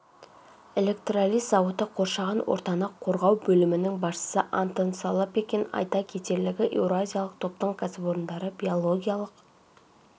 электролиз зауыты қоршаған ортаны қорғау бөлімінің басшысы антон солопекин айта кетерлігі еуразиялық топтың кәсіпорындары биологиялық